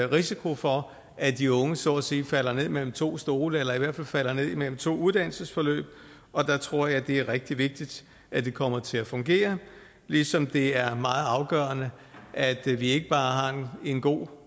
risiko for at de unge så at sige falder ned imellem to stole eller i hvert falder ned imellem to uddannelsesforløb og der tror jeg det er rigtig vigtigt at det kommer til at fungere ligesom det er meget afgørende at vi vi ikke bare har en god